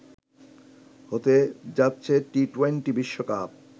হতে যাচ্ছে টি-টোয়েন্টি বিশ্বকাপ